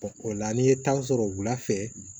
o la n'i ye tan sɔrɔ wula fɛ